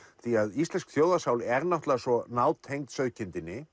því að íslensk þjóðarsál er náttúrulega svo nátengd sauðkindinni